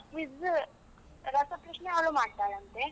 Quiz ರಸಪ್ರಶ್ನೆ ಅವಳು ಮಾಡ್ತಾಳಂತೆ.